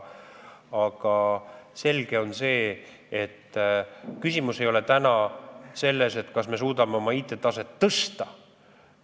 Selge on see, et küsimus ei ole selles, kas me suudame oma IT-taset tõsta.